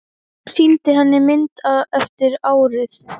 Jón sýndi eina mynd eftir árið.